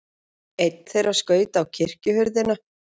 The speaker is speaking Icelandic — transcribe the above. Einn þeirra skaut á kirkjuhurðina.